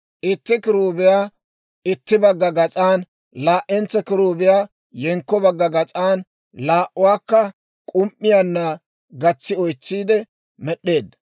Itti kiruubiyaa itti bagga gas'an, laa'entso kiruubiyaa yenkko bagga gas'an, laa'uwaakka k'um"iyaanna gatsi oytsiidde med'd'eedda.